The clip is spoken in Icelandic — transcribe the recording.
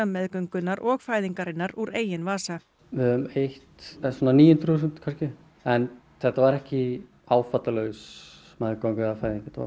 meðgöngunnar og fæðingarinnar úr eigin vasa við höfum eytt svona níu hundruð þúsund kannski en þetta var ekki áfallalaus meðganga eða fæðing þetta